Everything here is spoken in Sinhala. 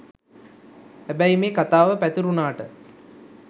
හැබැයි මේ කතාව පැතිරුණාට